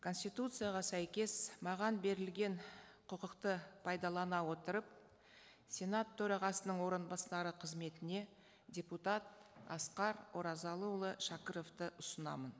конституцияға сәйкес маған берілген құқықты пайдалана отырып сенат төрағасының орынбасары қызметіне депутат асқар оразалыұлы шәкіровты ұсынамын